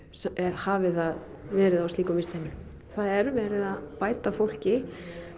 hafi það verið á slíkum vistheimilum það er verið að bæta fólki